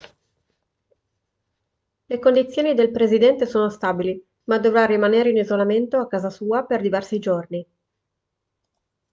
le condizioni del presidente sono stabili ma dovrà rimanere in isolamento a casa sua per diversi giorni